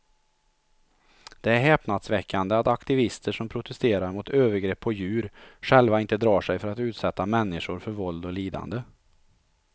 Det är häpnadsväckande att aktivister som protesterar mot övergrepp på djur själva inte drar sig för att utsätta människor för våld och lidande.